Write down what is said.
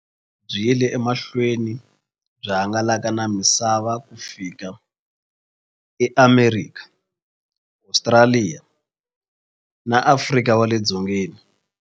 Byi yile emahlweni byi hangalaka na misava ku fika eAmerika, Ostraliya na Afrika wale dzongeni.